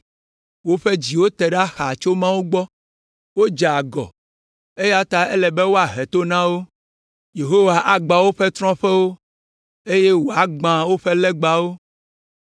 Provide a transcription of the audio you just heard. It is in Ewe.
Woƒe dziwo te ɖa xaa tso Mawu gbɔ. Wodze agɔ, eya ta ele be woahe to na wo. Yehowa agbã woƒe trɔ̃ƒewo, eye wòagbã woƒe legbawo.